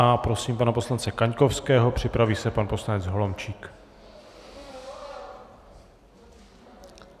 A prosím pana poslance Kaňkovského, připraví se pan poslanec Holomčík.